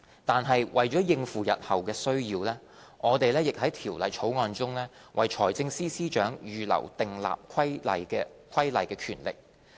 但是，為應付日後需要，我們在《條例草案》中為財政司司長預留訂立規例的權力。